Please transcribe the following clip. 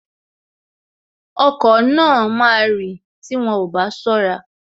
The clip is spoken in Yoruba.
Okọ̀ náà máa rì tí wọn ò bá ṣọ́ra